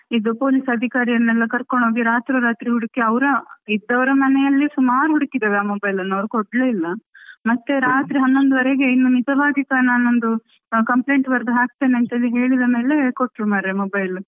ಇದು police ಅಧಿಕಾರಿಯನ್ನು ಕರ್ಕೊಂಡು ಹೋಗಿ ರಾತ್ರೋ ರಾತ್ರಿ ಹುಡುಕಿ ಇದ್ದವರ ಮನೆಯಲ್ಲೆ ಸುಮಾರು ಹುಡುಕಿದೆವು ಆ mobile ಅನ್ನು ಅವರು ಕೊಡ್ಲೇ ಇಲ್ಲ ಮತ್ತೆ ರಾತ್ರೆ ಹನ್ನೊಂದುವರೆಗೆ ಇನ್ನು ನಿಜವಾಗಿ ನಾನೊಂದು ಕಂಪ್ಲೇಂಟ್ ಬರೆದು ಹಾಕ್ತೀನಿ ಅಂತ ಎಲ್ಲ ಹೇಳಿದ ಮೇಲೆ ಕೊಟ್ರು ಮಾರೆ mobile.